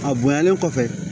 A bonyalen kɔfɛ